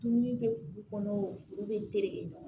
Dumuni tɛ furu kɔnɔ furu bɛ tereke ɲɔgɔn na